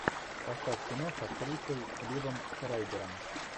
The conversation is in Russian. поставь кино с актрисой ливом шрайбером